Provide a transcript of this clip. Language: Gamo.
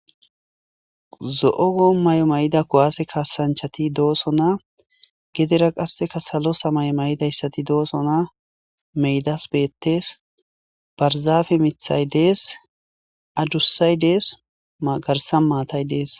zo7ogo may7o may7ida kowaase kaasanchati dooso na gedera qasseka salo samay may7idayssati doosona meydas beettes barzaafe mithay dees adussay dees magarsan maatay dees